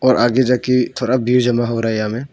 और आगे जाके थोड़ा भीड़ जमा हो रहा है यहां में।